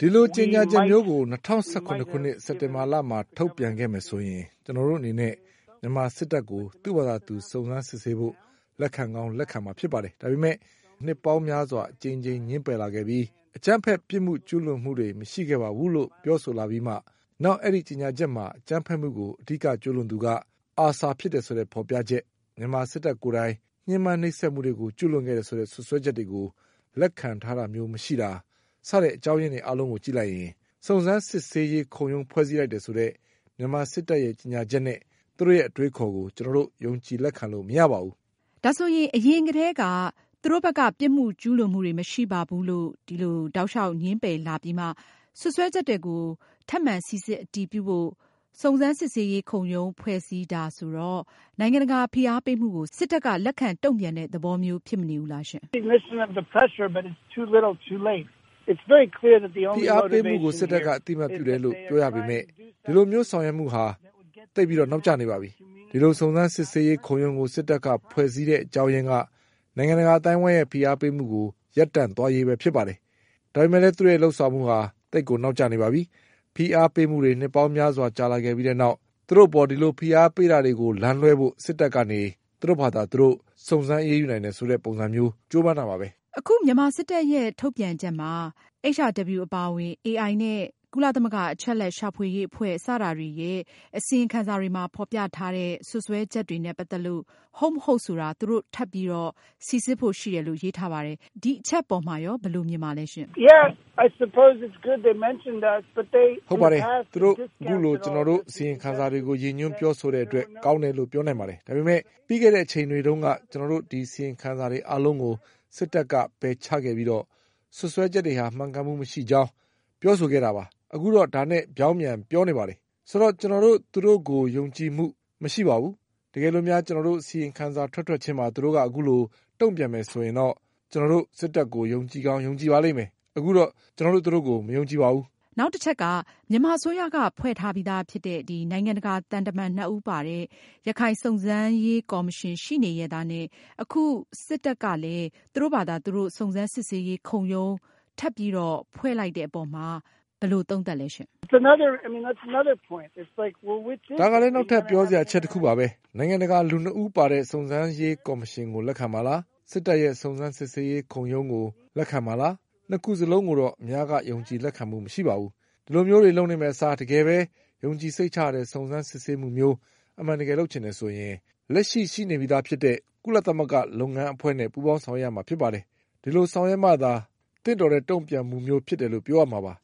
ဒီလိုကြေညာချက်မျိုးကို ၂၀၁၇ခုနှစ် စက်တင်ဘာလ မှာ ထုတ်ပြန်ခဲ့မယ်ဆိုရင် ကျနော်တို့အနေနဲ့ မြန်မာစစ်တပ်ကို သူ့ဘာသာသူ စုံစမ်းစစ်ဆေးဖို့ လက်ခံကောင်း လက်ခံမှာဖြစ်ပါတယ်။ ဒါပေမဲ့ နှစ်ပေါင်းများစွာ အကြိမ်ကြိမ်ငြင်းပယ်လာပြီး၊ အကြမ်းဖက် ပြစ်မှုကျူးလွန်မှုတွေ မရှိခဲ့ပါဘူးလို့ ပြောဆိုလာပြီးမှ၊ နောက် အဲဒီကြေညာချက်မှာ အကြမ်းဖက်မှုကို အဓိကကျူးလွန်သူက ASAR ဖြစ်တယ်ဆိုတဲ့ ဖေါ်ပြချက်၊မြန်မာစစ်တပ်ကိုယ်တိုင် ဖိနှိပ်ညှမ်းပမ်းမှုတွေကို ကျူးလွန်ခဲ့တယ်ဆိုတဲ့ စွပ်စွဲချက်တွေကို လက်ခံတာမျိုးမရှိတာ စတဲ့အကြောင်းအရင်းတွေအားလုံးကို ကြည့်လိုက်ရင် စုံစမ်းစစ်ဆေးရေးခုံရုံးဖွဲ့စည်းလိုက်တယ်ဆိုတဲ့မြန်မာစစ်တပ်ရဲ့ကြေညာချက်နဲ့ သူတို့ရဲ့ အတွေးအခေါ်ကို ကျနော်တို့ ယုံကြည်လက်ခံလို့မရပါဘူး။” ဒါဆိုရင် အရင်ကတည်းက သူတို့ဘက်က ပြစ်မှုကျူးလွန်မှုတွေ မရှိပါဘူးလို့တောက်လျောက် ငြင်းပယ်လာပြီးမှ စွပ်စွဲချက်တွေကို ထပ်မံစိစစ် အတည်ပြုဖို့ စုံစမ်းစစ်ဆေးရေး ခုံရုံး ဖွဲ့စည်းတာဆိုတော့ နိုင်ငံတကာဖိအားပေးမှုကို စစ်တပ်က လက်ခံတုန့်ပြန်တဲ့သဘောမျိုးလားရှင့်။ ဖိအားပေးမှုကို စစ်တပ်က အသိအမှတ်ပြုတယ်လို့ပြောရပေမယ့် ဒီလိုမျိုးဆောင်ရွက်မှုဟာ အလွန်နောက်ကျနေပါပြီ။ ဒီလို စုံစမ်းစစ်ဆေးရေးခုံရုံးကို စစ်တပ်က ဖွဲ့စည်းတဲ့အကြောင်းရင်းက နိုင်ငံတကာအသိုင်းအဝိုင်းရဲ့ ဖိအားပေးမှုကို ရပ်တန့်သွားရေးပဲဖြစ်ပါတယ်။ဒါပေမဲ့လည်း သူတို့ရဲ့လုပ်ဆောင်မှုဟာ အလွန်ကိုနောက်ကျနေပါတယ်။ ဖိအားပေးမှုတွေ နှစ်ပေါင်းများစွာကြာလာပြီးတဲ့နောက် သူတို့အပေါ် ဒီလိုဖိအားပေးတာတွေ လမ်းလွဲှဖို့ စစ်တပ်ကနေ သူတို့ဘာသာသူတို့ စုံစမ်းအရေးယူနိုင်တယ်ဆိုတဲ့ပုံစံမျိုးကြိုးပမ်းမှုတခုပါပဲ။ အခု မြန်မာစစ်တပ်ရဲ့ ထုတ်ပြန်ချက်မှာ HRW အပါအဝင် AI နဲ့ ကုလသမဂ္ဂအချက်အလက်ရှာဖွေရေးအဖွဲ့ စတာတွေရဲ့ အစီရင်ခံစာတွေမှာ ဖေါ်ပြထားတဲ့ စွပ်စွဲချက်တွေနဲ့ ပတ်သက်လို့ ဟုတ်မဟုတ်ဆိုတာ သူတို့ ထပ်ပြီး စိစစ်ဖို့ ရှိတယ်လို့ရေးထားပါတယ်။ ဒီအချက်ပေါ်မှာ ဘယ်လိုမြင်လဲရှင့်။ ဟုတ်ပါတယ်။ သူတို့ အခုလို ကျနော်တို့ အစီရင်ခံစာတွေကို ရည်ညွန်းပြောဆိုတဲ့အတွက် ကောင်းတယ်လို့ ပြောနိုင်ပါတယ်။ ဒါပေမဲ့ ပြီးခဲ့တဲ့အချိန်တွေတုန်းက ကျနော်တို့ အစီရင်ခံစာတွေအားလုံးကို စစ်တပ်က ပယ်ချခဲ့ပြီးတော့ စွပ်စွဲချက်တွေဟာ မှန်ကန်မှုမရှိကြောင်း ပြောဆိုခဲ့တာပါ။ အခုတော့ ဒါနဲ့ ပြောင်းပြန် ပြောနေပြန်ပါတယ်။ ဆိုတော့ ကျနော်တို့ သူတို့ကို ယုံကြည်မှု မရှိပါဘူး။ တကယ်လို့များ ကျနော်တို့ အစီရင်ခံစာ ထွက်ထွက်ချင်းမှာ သူတို့ အခုလို တုန့်ပြန်မယ်ဆိုရင် ကျနော်တို့ စစ်တပ်ကို ယုံကြည်ကောင်း ယုံကြည်ပါလိမ့်မယ်။ အခုတော့ ကျနော်တို့သူတို့ကို ယုံကြည်မှု မရှိပါဘူး။ မြန်မာအစိုးရက ဖွဲ့စည်းထားပြီးသာဖြစ်တဲ့ နိုင်ငံတကာသံတမန်နှစ်ဦးပါတဲ့ ရခိုင်စုံစမ်းရေးကော်မရှင်ရှိနေရဲ့သားနဲ့ အခု စစ်တပ်ကနေ သူတို့ဘာသာ သူတို့ စုံစမ်းစစ်ဆေးရေး ခုံရုံး ထပ်ပြီး ဖွဲ့လိုက်တဲ့အပေါ်မှာ ဘယ်လိုသုံးသပ်လဲရှင့်။ ဒါကလည်း နောက်ထပ် ပြောစရာအချက်တခုပါပဲ။ နိုင်ငံတကာလူနှစ်ဦးပါတဲ့ စုံစမ်းရေးကော်မရှင်ကို လက်ခံမှာလား၊ စစ်တပ်ရဲ့ စုံစမ်းစစ်ဆေးရေးခုံရုံး ကို လက်ခံမှာလား။ နှစ်ခုစလုံးကိုတော့ အများယုံကြည်လက်ခံမှုမရှိပါဘူး။ ဒီလိုမျိုးတွေလုပ်နေမယ့်အစား တကယ်ပဲ ယုံကြည်စိတ်ချရတဲ့ စုံစမ်းစစ်ဆေးမှုမျိုး အမှန်တကယ်လုပ်ချင်တယ်ဆိုရင် လက်ရှိမှာ ရှိနေပြီးသာဖြစ်တဲ့ ကုလသမဂ္ဂလုပ်ငန်းအဖွဲ့နဲ့ ပူးပေါင်းဆောင်ရွက်ရမှာဖြစ်ပါတယ်။ အဲဒီလို ဆောင်ရွက်မှာသာ သင့်တော်တဲ့တုန့်ပြန်မှုမျိုးဖြစ်တယ်လို့ ပြောရမှာပါ